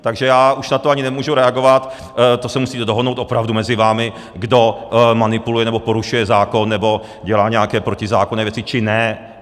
Takže já už na to ani nemůžu reagovat, to se musíte dohodnout opravdu mezi vámi, kdo manipuluje nebo porušuje zákon nebo dělá nějaké protizákonné věci, či ne.